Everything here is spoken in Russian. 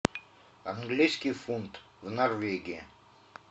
английский фунт в норвегии